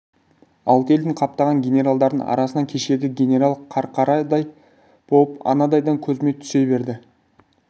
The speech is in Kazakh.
алты елдің қаптаған генералдарының арасынан кешегі генерал қарқарадай болып анадайдан көзіме түсе берді